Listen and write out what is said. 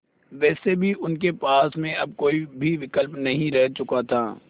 वैसे भी उनके पास में अब कोई भी विकल्प नहीं रह चुका था